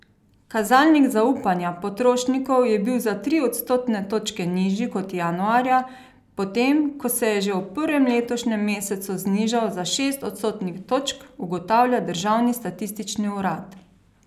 Kazalnik zaupanja potrošnikov je bil za tri odstotne točke nižji kot januarja, potem ko se je že v prvem letošnjem mesecu znižal za šest odstotnih točk, ugotavlja državni statistični urad.